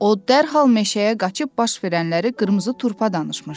O dərhal meşəyə qaçıb baş verənləri qırmızı turpa danışmışdı.